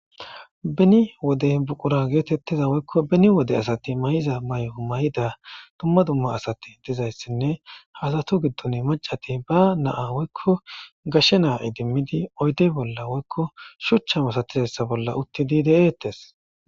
Beni wode buqura getettiza woyikko beni wode asati mayizza mayo mayida dumma dumma asiti dizayissanne haa asatu giddonni macati baa na'a woyikko gashshe naa idimidi oyidde bolla woyikko shuchcha masatizayissa bolla detees.